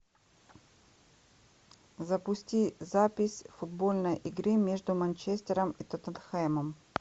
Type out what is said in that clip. запусти запись футбольной игры между манчестером и тоттенхэмом